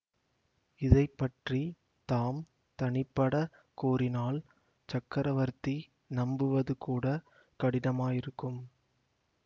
இதை பற்றி தாம் தனிப்படக் கூறினால் சக்கரவர்த்தி நம்புவதுகூடக் கடினமாயிருக்கும்